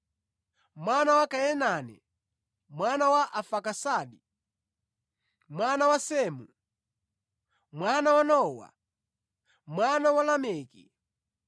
mwana wa Kainane, mwana wa Arfaksadi, mwana wa Semu, mwana wa Nowa, mwana wa Lameki,